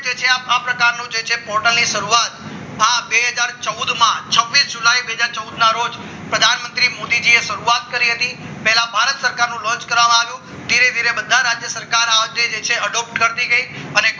જે છે આ પ્રકારના portal ની શરૂઆત બે હજાર ચૌદ માં છવીસ જુલાઈ બે હજાર ચૌદ ના રોજ પ્રધાનમંત્રી મોદીજી એ શરૂઆત કરી હતી પહેલા ભારત સરકારનું લોન્ચ કરાવવાનો ધીરે ધીરે બધા રાજ્યોનો સરકાર